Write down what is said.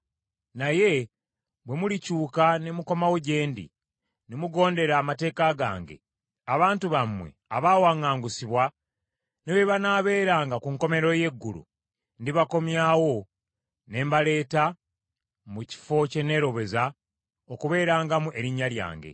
naye bwe mulikyuka ne mukomawo gye ndi, ne mugondera amateeka gange, abantu bammwe abaawaŋŋangusibwa ne bwe banaabeeranga ku nkomerero y’eggulu, ndibakuŋŋaanyayo ne mbaleeta mu kifo kye neeroboza okubeerangamu Erinnya lyange.’